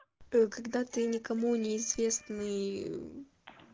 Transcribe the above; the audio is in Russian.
когда ты никому не известный